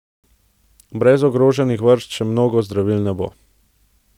Brez ogroženih vrst še mnogih zdravil ne bo!